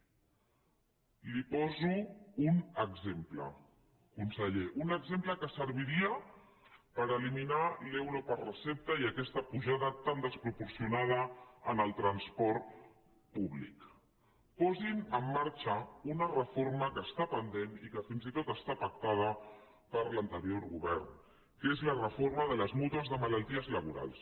li poso un exemple conseller un exemple que serviria per eliminar l’euro per recepta i aquesta apujada tan desproporcionada en el transport públic posin en marxa una reforma que està pendent i que fins i tot està pactada per l’anterior govern que és la reforma de les mútues de malalties laborals